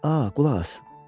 A, qulaq as.